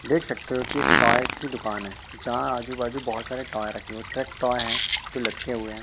देख सकते हो कि टॉय की दुकान है जहां आजू बाजू बहुत सारे टॉय रखे हुए है ट्रेक टॉय है जो लटके हुए है।